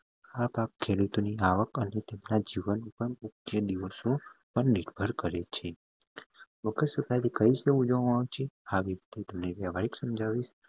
આ પાક ખેડૂતોની આવક જીવન પણ દિવસો પર નિર્ભર કરે છે મકર સંક્રાંતિ કઈ દિવસ ઉજવામાં આવે છે સમજાવીશ